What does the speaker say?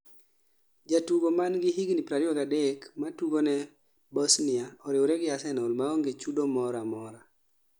jatugo mangi higni 23 matugoni Bosnia , oriwre gi Arsenal maonge chudo mora amora